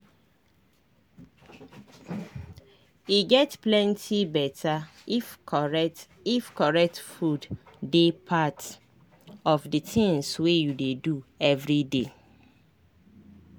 e get plenty beta if correct if correct food dey part of the tinz wey you dey do everyday.